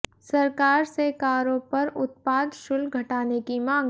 सरकार से कारों पर उत्पाद शुल्क घटाने की मांग